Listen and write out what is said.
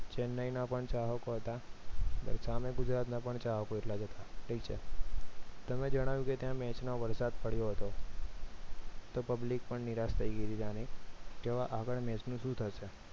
ચેન્નઈના પણ ચાહકો હતા અને સામે ગુજરાતના પણ ચાહકો હતા ઠીક છે તમે જણાવ્યું કે ત્યાં match માં વરસાદ પડ્યો હતો તો public પણ નિરાશ થઈ ગયેલી ત્યાની કે હવે આગળ match નું શું થશે